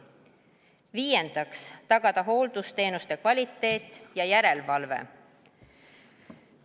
Viiendaks, tagada hooldusteenuste kvaliteet ja järelevalve.